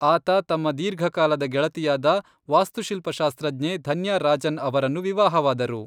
ಆತ ತಮ್ಮ ದೀರ್ಘಕಾಲದ ಗೆಳತಿಯಾದ ವಾಸ್ತುಶಿಲ್ಪಶಾಸ್ತ್ರಜ್ಞೆ ಧನ್ಯಾ ರಾಜನ್ ಅವರನ್ನು ವಿವಾಹವಾದರು.